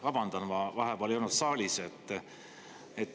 Vabandan, ma vahepeal ei olnud saalis.